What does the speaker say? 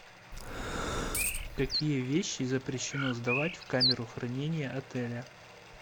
какие вещи запрещено сдавать в камеру хранения отеля